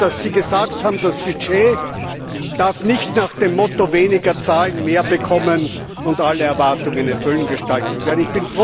Ich bin froh, dass Sie gesagt haben, das Budget darf nicht nach dem Motto weniger zahlen, mehr bekommen und alle Erwartungen erfüllen gestaltet werden.